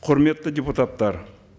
құрметті депутаттар